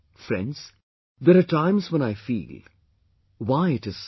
Friends, there are times when I feel why it isso